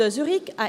de Zurich